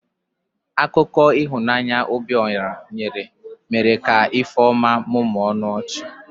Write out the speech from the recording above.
Akụkọ ihunanya Obiora nyere mere ka Ifeoma mụmụọ ọnụ ọchị.